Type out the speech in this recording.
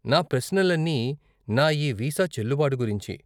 నా ప్రశ్నలన్నీ నా ఈ వీసా చెల్లుబాటు గురించి.